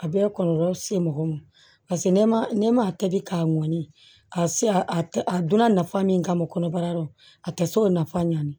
A bɛɛ kɔlɔlɔ se mɔgɔw ma paseke ne ma ne ma tobi k'a mɔni a si a donna nafa min kama kɔnɔbara la a tɛ se o nafa ɲani